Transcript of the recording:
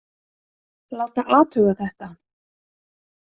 Láta athuga þetta.